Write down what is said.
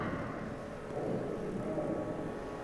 можешь включить романтику